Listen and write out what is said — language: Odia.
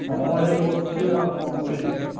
ମୁଁ ଏଇ, ବସଚି ଆଉ କଣ କରିବି।